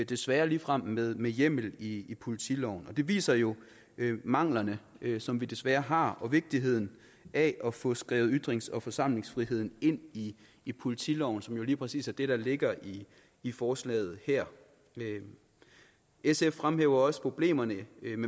desværre ligefrem med med hjemmel i politiloven det viser jo manglerne som vi desværre har og vigtigheden af at få skrevet ytrings og forsamlingsfriheden ind i i politiloven som jo lige præcis er det der ligger i i forslaget her sf fremhæver også problemerne